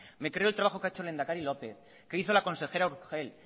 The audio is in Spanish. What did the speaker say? me creo el trabajo que ha hecho el lehenedakari lópez que hizo la consejera urgell